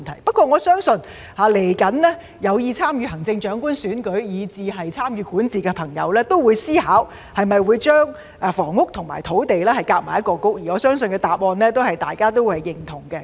不過，我相信未來有意參與行政長官選舉以至參與管治的朋友也會思考會否把房屋和土地合併為一個局，而我相信大家的答案也是認同的。